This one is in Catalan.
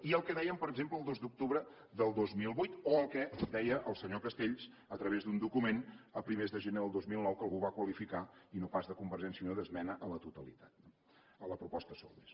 i el que deien per exemple el dos d’octubre del dos mil vuit o el que deia el senyor castells a través d’un document a primers de gener del dos mil nou que algú va qualificar i no pas de convergència i unió d’ esmena a la totalitat a la proposta solbes